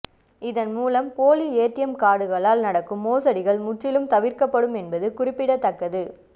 இதன் மூலம் போலி ஏடிஎம் கார்டுகளால் நடக்கும் மோசடிகள் முற்றிலும் தவிர்க்கப்படும் என்பது குறிப்பிடத்தக்கது